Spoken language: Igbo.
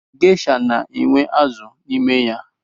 Geisha na-enwe azụ n’ime ya